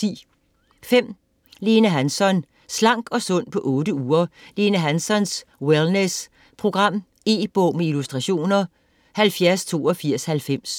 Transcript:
Hansson, Lene: Slank og sund på 8 uger: Lene Hanssons wellness program E-bog med illustrationer 708290